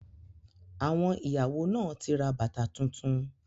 Àwọn ìyàwó náà ti ra bàtà tuntun.